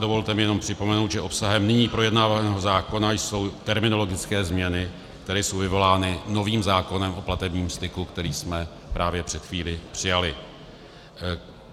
Dovolte mi jenom připomenout, že obsahem nyní projednávaného zákona jsou terminologické změny, které jsou vyvolány novým zákonem o platebním styku, který jsme právě před chvílí přijali.